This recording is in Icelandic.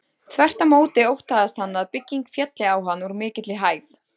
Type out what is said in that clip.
Þvert á móti óttaðist hann að bygging félli á hann úr mikilli hæð.